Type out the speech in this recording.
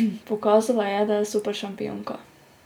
Pokazala je, da je superšampionka.